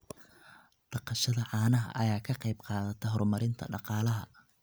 Dhaqashada caanaha ayaa ka qayb qaadata horumarinta dhaqaalaha.